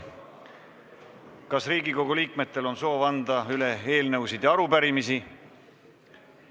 Kas Riigikogu liikmetel on soovi anda üle eelnõusid ja arupärimisi?